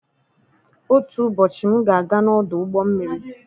Otu ụbọchị, m ga-aga n'ọdụ ụgbọ mmiri.